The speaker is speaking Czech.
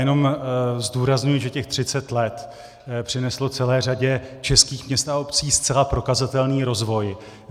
Jenom zdůrazňuji, že těch 30 let přineslo celé řadě českých měst a obcí zcela prokazatelný rozvoj.